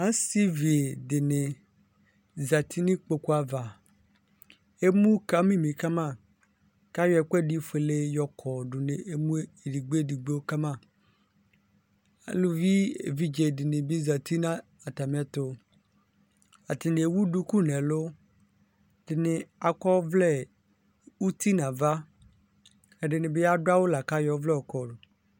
Asivi dini zati nʋ ikpokʋ ava emʋ kamimi kama kʋ ayɔ ɛkʋfuele di yɔkɔdʋ emʋe edigbo edigbo kama alʋvi evidze dini bi zati nʋ atami ɛtʋ atani ewʋ dulu nʋ ɛlʋ edini akɔ ɔvlɛ uti nʋ ava ɛdini bi adʋ awʋ lakʋ ayɔ ɔvlɛla yɔkɔdʋ